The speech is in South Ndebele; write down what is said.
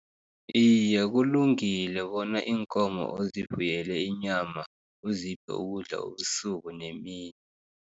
Iye, kulungile bona iinkomo ozifuyele inyama, uziphe ukudla ubusuku nemini.